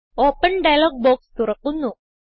open dialog box തുറക്കുന്നു